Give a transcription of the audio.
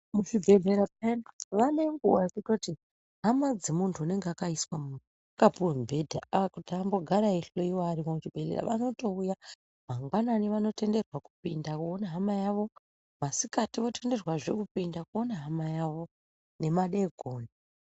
Muzvibhedhlera zvedu vane nguwa yekutoti hama dzemuntu unenge akaiswa akapuwe mubhedha kuti ambogara eihloiwa arimwo muzvibhedhlera vanotouya mangwanani vanotenderwa kupinda voona hama yavo, masikati votenderwa zvee kupinda koone hama yawo nemadeekoni.